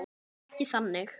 Ekki þannig.